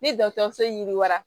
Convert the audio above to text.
Ni dɔgɔtɔrɔso yiriwa